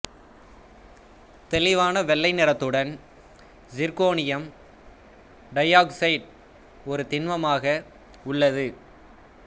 தெளிவான வெள்ளை நிறத்துடன் சிர்க்கோனியம் டையாக்சைடு ஒரு திண்மமாக உள்ளது